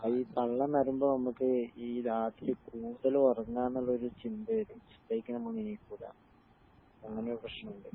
അതീ പള്ള നറയുമ്പോ നമുക്ക് ഈ രാത്രി കൂടുതൽ ഉറങാ എന്നുള്ളൊരു ചിന്ത വരും സുബഹിക്ക് നമ്മൾ എണ്ണീക്കൂല അങ്ങനൊരു പ്രശ്‍നം ഉണ്ട്